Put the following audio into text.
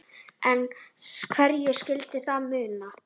En hverju skyldi það muna?